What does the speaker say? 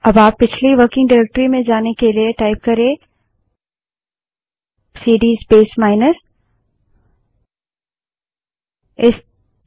अब आप पिछली वर्किंग डाइरेक्टरी में जाने के लिए प्रोंप्ट में सीडी स्पेस माइनस टाइप कर सकते हैं